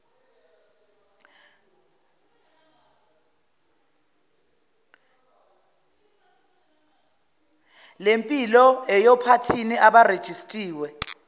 lempilo yphathini abarejistiwe